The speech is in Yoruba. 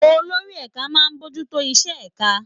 Olórí ẹ̀ka máa ń bójú tó iṣẹ́ ẹ̀ka